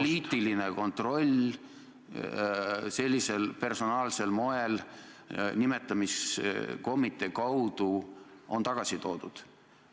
... poliitiline kontroll sellisel personaalsel moel nimetamiskomitee kaudu on tagasi toodud.